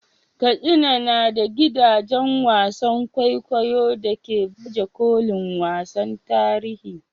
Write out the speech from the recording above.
Katsina na da gidajen wasan kwaikwayo da ke baje kolin wasannin tarihi.